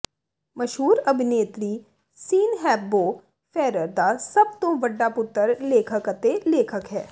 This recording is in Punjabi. ਮਸ਼ਹੂਰ ਅਭਿਨੇਤਰੀ ਸੀਨ ਹੈਪਬੋਰ ਫੈਰਰ ਦਾ ਸਭ ਤੋਂ ਵੱਡਾ ਪੁੱਤਰ ਲੇਖਕ ਅਤੇ ਲੇਖਕ ਹੈ